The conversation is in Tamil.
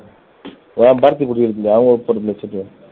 ஏன் பாரதி இருக்கு இல்ல அவங்களுக்கு போட்ருந்த chit